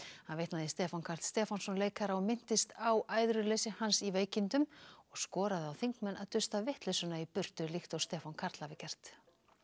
hann vitnaði í Stefán Karl Stefánsson leikara og minntist á æðruleysi hans í veikindum og skoraði á þingmenn að dusta vitleysuna í burtu líkt og Stefán Karl hafi gert